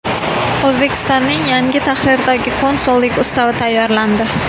O‘zbekistonning yangi tahrirdagi Konsullik ustavi tayyorlandi.